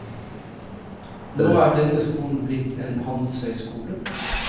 Nå er denne skolen blitt en handelshøyskole.